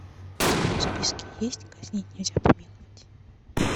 у тебя в списке есть казнить нельзя помиловать